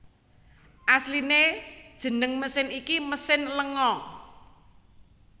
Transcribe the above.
Asliné jeneng mesin iki mesin lenga